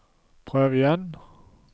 prøv igjen